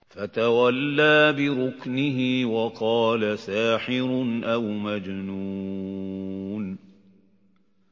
فَتَوَلَّىٰ بِرُكْنِهِ وَقَالَ سَاحِرٌ أَوْ مَجْنُونٌ